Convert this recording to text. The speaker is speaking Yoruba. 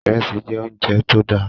Ìrẹsì jẹ́ oúnjẹ tó dáa